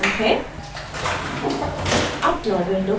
यह circuit diagram है